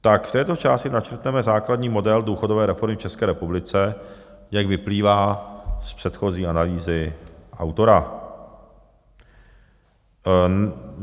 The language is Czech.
Tak v této části načrtneme základní model důchodové reformy v České republice, jak vyplývá z předchozí analýzy autora.